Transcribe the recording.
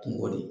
Kungo de